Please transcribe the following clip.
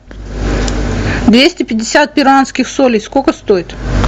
двести пятьдесят перуанских солей сколько стоит